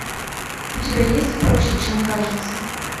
у тебя есть проще чем кажется